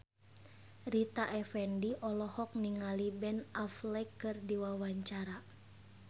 Rita Effendy olohok ningali Ben Affleck keur diwawancara